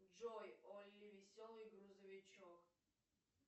джой олли веселый грузовичок